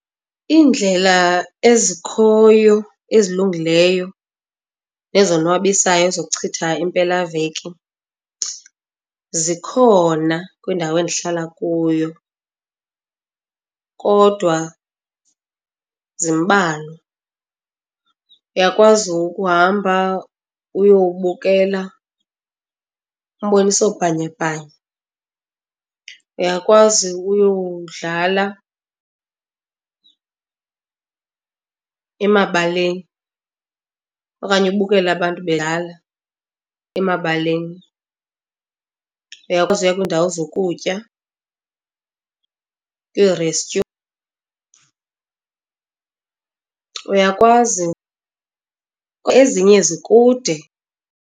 Iindlela ezikhoyo ezilungileyo nezonwabisayo zokuchitha impelaveki zikhona kwindawo endihlala kuyo kodwa zimbalwa. Uyakwazi ukuhamba uyobukela umbonisobhanyabhanya, uyakwazi uyodlala emabaleni okanye ubukela abantu bedlala emabaleni. Uyakwazi ukuya kwiindawo zokutya, kwiirestyu. Uyakwazi, ezinye zikude.